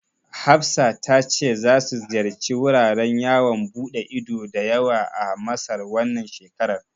Hafsa ta ce za su ziyarci wuraren yawon ɓude ido da yawa a Masar, wannan shekarar.